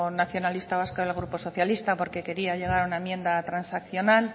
nacionalista vasco y al grupo socialista porque quería llegar a una enmienda transaccional